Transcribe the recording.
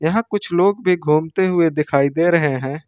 यहां कुछ लोग भी घूमते हुए दिखाई दे रहे हैं।